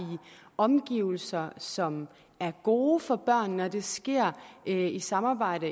omgivelser som er gode for børnene og at det sker i samarbejde